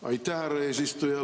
Aitäh, härra eesistuja!